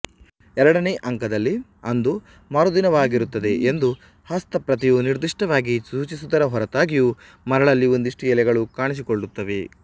ಎರಡನೇ ಅಂಕದಲ್ಲಿ ಅದು ಮರುದಿನವಾಗಿರುತ್ತದೆ ಎಂದು ಹಸ್ತಪ್ರತಿಯು ನಿರ್ದಿಷ್ಟವಾಗಿ ಸೂಚಿಸುವುದರ ಹೊರತಾಗಿಯೂ ಮರದಲ್ಲಿ ಒಂದಷ್ಟು ಎಲೆಗಳು ಕಾಣಿಸಿಕೊಳ್ಳುತ್ತವೆ